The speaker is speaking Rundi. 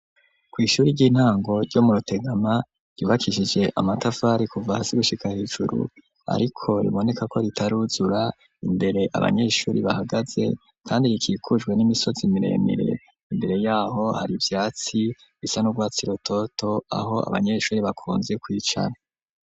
Kw'ishuri ry'intango ryo mu Rutegama ryubakishije amatafari kuva hasi gushika hejuru ariko riboneka ko ritaruzura, imbere abanyeshuri bahagaze kandi rikikujwe n'imisozi miremire, imbere yaho hari ivyatsi bisa n'urwatsi rutoto aho abanyeshuri bakunze kwicara.